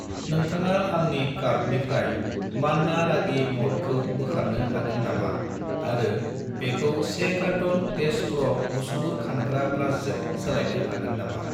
नोंथाङा आंनि कार्टनिफ्राय मान्ना रागि म'ल्टखौ बोखारनो हागोन नामा आरो बेखौ 1 कारट'न देश प्र' मुसुगुर खानग्रा ब्रासजों सोलायनो हागोन नामा